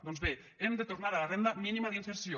doncs bé hem de tornar a la renda mínima d’inserció